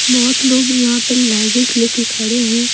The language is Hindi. बहुत लोग यहां पे लगेस लेके खड़े हैं।